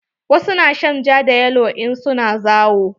Wasu na shan ja da yalo in su na zawo.